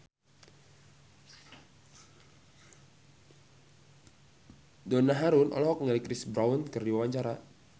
Donna Harun olohok ningali Chris Brown keur diwawancara